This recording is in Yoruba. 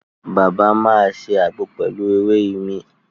Bàbá máa ṣe àgbo pelu èwe imí